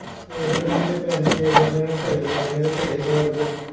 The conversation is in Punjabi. ਉਹੀ ਨਾ ਕਿ ਜੇ ਪੈਸੇ ਮਿਲਦੇ ਜਾਣ ਘਰੇ ਬੈਠਿਆਂ ਤਾਂ ਘਰੇ ਸਵਰਗ ਹੈ